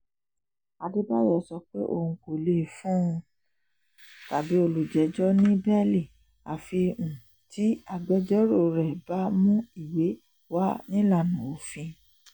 àdèbàyò sọ pé òun kò lè fún um olùjẹ́jọ́ ní bẹ́ẹ́lí àfi um tí agbẹjọ́rò rẹ̀ bá mú ìwé wá nílànà òfin